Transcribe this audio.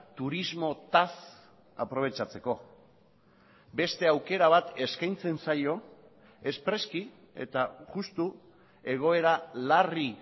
turismotaz aprobetxatzeko beste aukera bat eskaintzen zaio espreski eta justu egoera larri